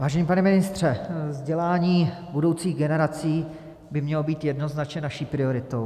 Vážený pane ministře, vzdělání budoucích generací by mělo být jednoznačně naší prioritou.